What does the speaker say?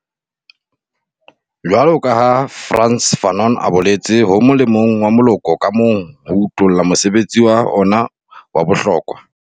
Jwaloka ha Frantz Fanon a boletse, ho molemong wa moloko ka mong ho utolla mosebetsi wa ona wa bohlokwa.